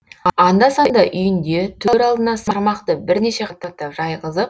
анда санда үйінде төр алдына сырмақты бірнеше қабаттап жайғызып